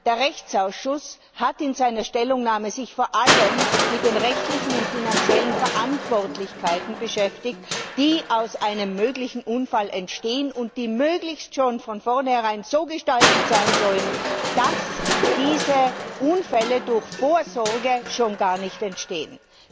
Der Rechtsausschuss hat sich in seiner Stellungnahme vor allem mit den rechtlichen und finanziellen Verantwortlichkeiten beschäftigt, die aus einem möglichen Unfall entstehen und die möglichst schon von vorneherein so gestaltet sein sollen, dass diese Unfälle durch Vorsorge gar nicht erst entstehen.